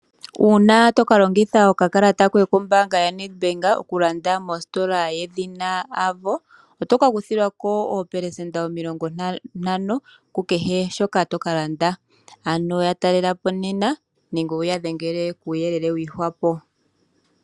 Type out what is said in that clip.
Uuna toka longitha okakalata koye kombaanga ndjoka yoNedbank okulanda iinima yoye mositola yedhina Avo oto ka kuthilwa ko oopelesenda omilongo ntano ku kehe shoka to ka landa, ano ya talelapo nena nenge wuya dhengele koonomola yongodhi yawo ye kupe uuyelele wa gwe dhwapo.